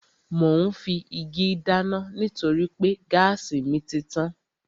Mò ún fi igi dáná nítorí pé gáàsì mi títàn